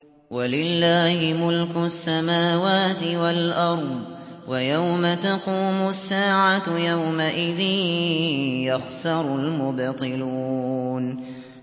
وَلِلَّهِ مُلْكُ السَّمَاوَاتِ وَالْأَرْضِ ۚ وَيَوْمَ تَقُومُ السَّاعَةُ يَوْمَئِذٍ يَخْسَرُ الْمُبْطِلُونَ